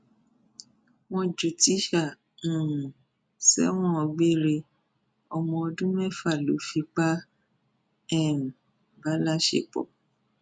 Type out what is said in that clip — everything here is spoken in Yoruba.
wọn ju tíṣà um sẹwọn gbére ọmọ ọdún mẹfà lọ fipá um bá láṣepọ